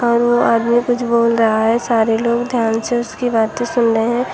और वो आदमी कुछ बोल रहा है सारे लोग ध्यान से उसकी बातें सुन रहे हैं।